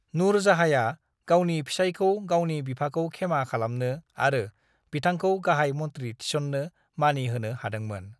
नूरजाहाँया गावनि फिसायखौ गावनि बिफाखौ खेमा खालामनो आरो बिथांखौ गाहाय मन्त्री थिसन्नो मानि होनो हादोंमोन।